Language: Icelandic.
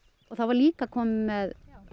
það var líka komið með